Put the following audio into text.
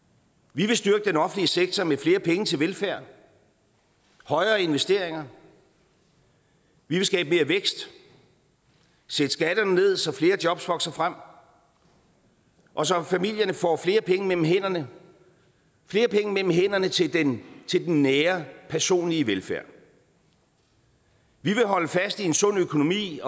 vi vil styrke den offentlige sektor med flere penge til velfærd og højere investeringer vi vil skabe mere vækst sætte skatterne ned så flere jobs vokser frem og så familierne får flere penge mellem hænderne flere penge mellem hænderne til den nære personlige velfærd vi vil holde fast i en sund økonomi